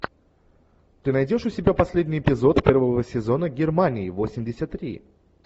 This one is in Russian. ты найдешь у себя последний эпизод первого сезона германии восемьдесят три